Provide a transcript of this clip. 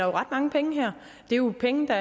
om ret mange penge her det er jo penge der